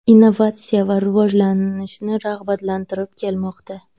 Innovatsiya va rivojlanishni rag‘batlantirib kelmoqda.